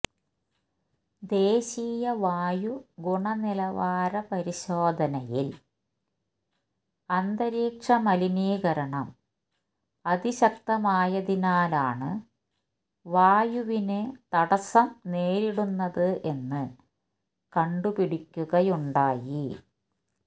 ദേശീയ വായു ഗുണനിലവാര പരിശോധനയില് അന്തരീക്ഷ മലിനീകരണം അതിശക്തമായതിനാലാണ് വായുവിന് തടസ്സം നേരിടുന്നത് എന്ന് കണ്ടുപിടിക്കുകയുണ്ടായി